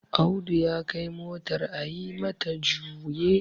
Audu ya Kai motar a yi mata juye